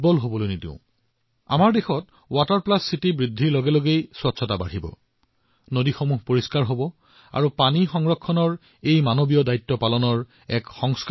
আমাৰ দেশৰ যিমানে অধিক চহৰ ৱাটাৰ প্লাছ চিটি হব সিমানেই পৰিষ্কাৰ পৰিচ্ছন্নতা বৃদ্ধি হব আমাৰ নদীবোৰ পৰিষ্কাৰ হব আৰু পানী বচাবলৈ মানৱীয় দায়িত্ব বহন কৰিবলৈ সংস্কাৰো হব